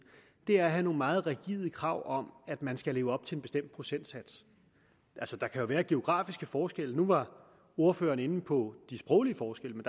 er at have nogle meget rigide krav om at man skal leve op til en bestemt procentsats altså der kan jo være geografiske forskelle nu var ordføreren inde på de sproglige forskelle